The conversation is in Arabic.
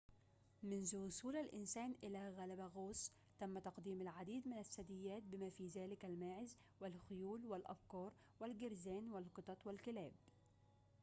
منذ وصول الإنسان إلى غالاباغوس تم تقديم العديد من الثدييات بما في ذلك الماعز والخيول والأبقار والجرذان والقطط والكلاب